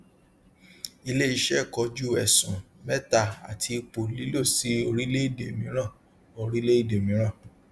iléiṣẹ kojú ẹsùn mẹta àti ìpò lílọ sí orílẹèdè mìíràn orílẹèdè mìíràn